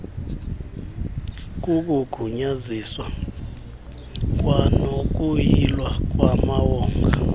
kukugunyaziswa kwanokuyilwa kwamawonga